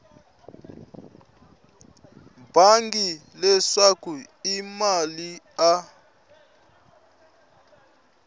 bangi leswaku i mani a